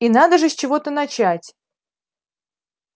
и надо же с чего-то начать